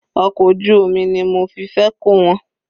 Ọkọ̀ ojú omi ni mo fi fẹ́ kó wọn.